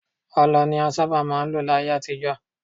Ọlọ ni a sábà máà ń lò ní ayé àtijọ́.